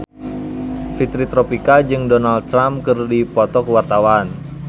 Fitri Tropika jeung Donald Trump keur dipoto ku wartawan